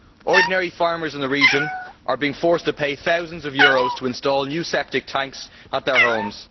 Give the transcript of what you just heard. Ordinary farmers in the region are being forced to pay thousands of euros to install new septic tanks at their homes.